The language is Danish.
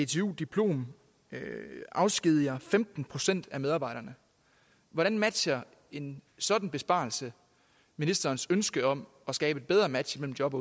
dtu diplom afskediger femten procent af medarbejderne hvordan matcher en sådan besparelse ministerens ønske om at skabe et bedre match mellem job